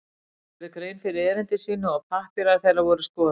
Þeir gerðu grein fyrir erindi sínu og pappírar þeirra voru skoðaðir.